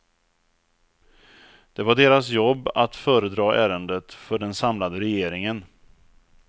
Det var deras jobb att föredra ärendet för den samlade regeringen.